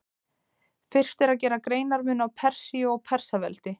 Fyrst er að gera greinarmun á Persíu og Persaveldi.